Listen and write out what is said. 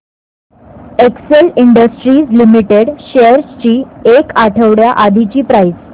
Excel Industries Limited shares ची एक आठवड्या आधीची प्राइस